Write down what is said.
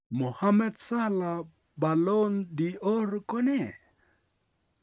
Mohammed Salah Ballon d'Or ko nee?